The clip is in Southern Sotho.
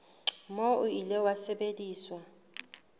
moo o ile wa sebediswa